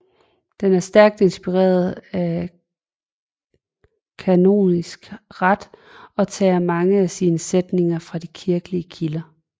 Den er stærkt inspireret af kanonisk ret og tager mange af sine sætninger fra de kirkelige kilder